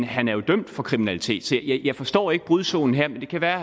han er jo dømt for kriminalitet så jeg forstår ikke brudzonen her men det kan være